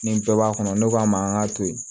Ni bɛɛ b'a kɔnɔ ne k'a ma an k'a to yen